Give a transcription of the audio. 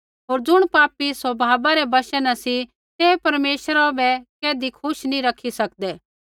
होर ज़ुण पापी स्वभावा रै वशा न सी तै परमेश्वरा बै कैधी खुश नी रखी सकदे